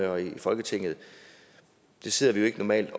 og i folketinget sidder vi jo ikke normalt